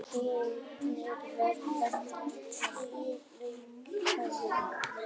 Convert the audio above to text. Hitinn verður steikjandi.